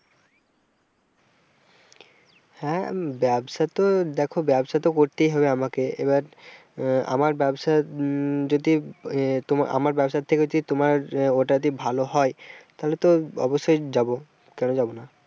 হ্যাঁ, ব্যবসা তো দেখো ব্যবসা তো করতেই হবে আমাকে এবার আহ আমার ব্যবসাউম যদি আমার ব্যবসা থেকে যদি তোমার ওটা ভালো হয় তাহলে তো অবশ্যই যাবো, কেন যাবনা।